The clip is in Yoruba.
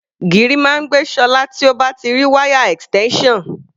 Gìrì máa ń gbé Ṣọlá tí ó bá ti rí wáyà extension.